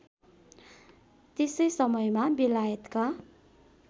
त्यसै समयमा बेलायतका